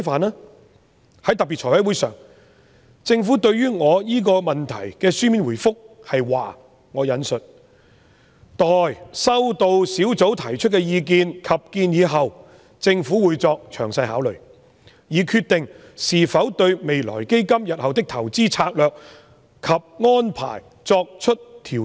在財務委員會特別會議上，政府對我這項問題的書面答覆是："待收到小組提出的意見及建議後，政府會作詳細考慮，以決定是否對'未來基金'日後的投資策略及安排作出調整。